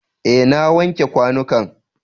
Eh, na wanke kwanukan.